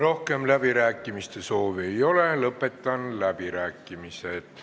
Rohkem läbirääkimiste soovi ei ole, lõpetan läbirääkimised.